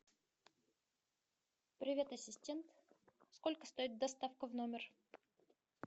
привет ассистент сколько стоит доставка в номер